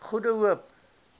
goede hoop